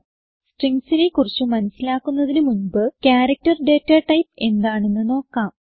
Stringsനെ കുറിച്ച് മനസിലാക്കുന്നതിന് മുൻപ് ക്യാരക്ടർ ഡേറ്റാടൈപ്പ് എന്താണെന്ന് നോക്കാം